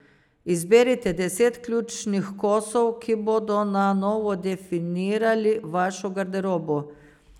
Izberite deset ključnih kosov, ki bodo na novo definirali vašo garderobo.